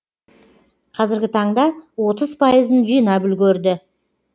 қазіргі таңда отыз пайызын жинап үлгерді